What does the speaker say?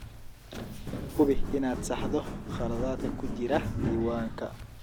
Hubi inaad saxdo khaladaadka ku jira diiwaanka.